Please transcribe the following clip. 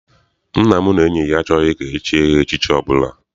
Nna m na enyi ya achọghị ka echie ha echichi ọbụla.